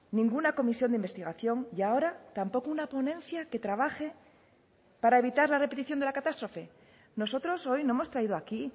ninguna comisión de investigación y ahora tampoco una ponencia que trabaje para evitar la repetición de la catástrofe nosotros hoy no hemos traído aquí